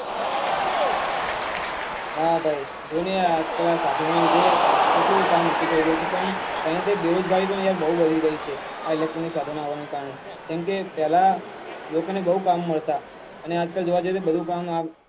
હા ભાઈ જો નાં આ સાધનો ને લીધે કેટલું કામ ઓછુ થઇ ગયુ છે પણ સાથે સાથે બેરોજગારી પણ યાર બઉ વધી ગઈ છે આ electronic સાધનો આવવા ને કારણે કેમ કે લોકો ને બઉ કામ મળતા અને આજ કાલ જોવા જઈએ તો